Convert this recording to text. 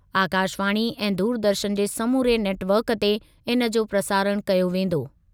आकाशवाणी ऐं दूरदर्शन जे समूरे नेटवर्क ते इनजो प्रसारण कयो वेंदो।